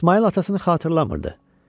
İsmayıl atasını xatırlamırdı.